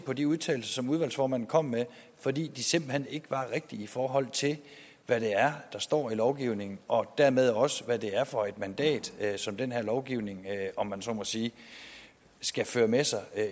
på de udtalelser som udvalgsformanden kom med fordi de simpelt hen ikke var rigtige i forhold til hvad det er der står i lovgivningen og dermed også hvad det er for et mandat som den her lovgivning om man så må sige skal føre med sig